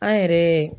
An yɛrɛ